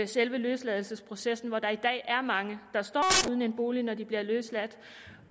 selve løsladelsesprocessen hvor der i dag er mange der står uden en bolig når de bliver løsladt